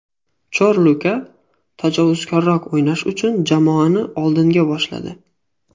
Chorluka tajovuzkorroq o‘ynash uchun jamoani oldinga boshladi”.